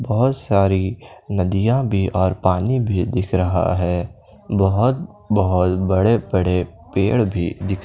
बहुत सारी नदियां भी और पानी भी दिख रहा है बहुत बहुत बड़े बड़े पेड़ भी दिख--